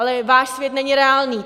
Ale váš svět není reálný.